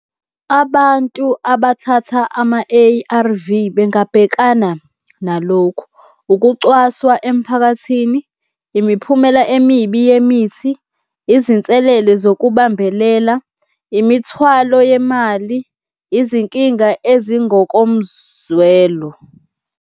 Abantu abathatha ama-A_R_V, bengabhekana nalokhu, ukucwaswa emphakathini, imiphumela emibi yemithi, izinselele zokubambelela, imithwalo yemali, izinkinga ezingokomzwelo.